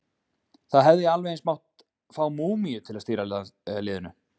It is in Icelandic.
Það hefði alveg eins mátt fá múmíu til að stýra liðinu!